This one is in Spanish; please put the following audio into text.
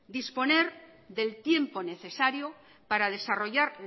disponer del tiempo necesario para desarrollar